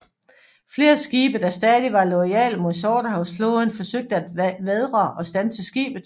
Flere skibe der stadig var loyale mod Sortehavsflåden forsøgte at vædre og standse skibet